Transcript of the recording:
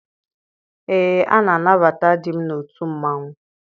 Ee, a na-anabata di m n'otu mmanwụ.